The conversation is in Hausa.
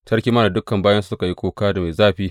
Sarki ma da dukan bayinsa suka yi kuka mai zafi.